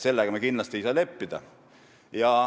Sellega ei saa me kindlasti leppida.